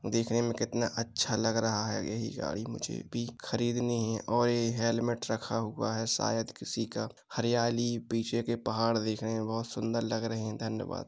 दिखने में कितना अच्छा लग रहा है। यही गाड़ी मुझे भी खरीदनी है और ये हेलमेट रखा हुआ है शायद किसी का। हरियाली पीछे के पहाड़ देखने में बहोत सुंदर लग रहे हैं। धन्यवाद!